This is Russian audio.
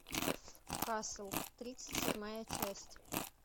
касл тридцать седьмая часть